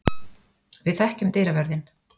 Við þekkjum dyravörðinn.